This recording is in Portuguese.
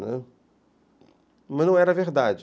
Né, mas não era verdade.